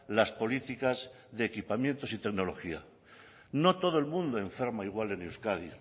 las políticas de equipamiento y tecnología no todo el mundo enferma igual en euskadi